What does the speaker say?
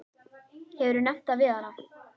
Hefurðu nefnt það við hana?